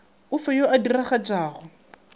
o fe yo a diragatšago